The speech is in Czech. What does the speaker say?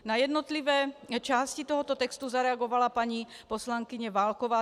Na jednotlivé části tohoto textu zareagovala paní poslankyně Válková.